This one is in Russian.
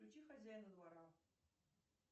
включи хозяина двора